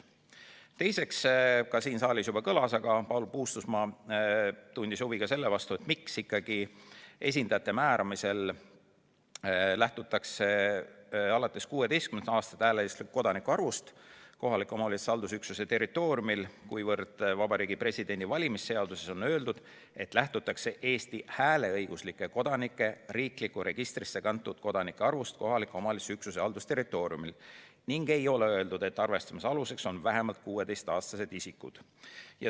Teiseks, nagu ka siin saalis juba kõlas, Paul Puustusmaa tundis huvi selle vastu, miks ikkagi lähtutakse esindajate määramisel alates 16-aastaste hääleõiguslike kodanike arvust kohaliku omavalitsuse haldusüksuse territooriumil, kuivõrd Vabariigi Presidendi valimise seaduses on öeldud, et lähtutakse Eesti hääleõiguslike kodanike riiklikku registrisse kantud kodanike arvust kohaliku omavalitsusüksuse haldusterritooriumil ning ei ole öeldud, et arvestamise aluseks on vähemalt 16-aastased isikud.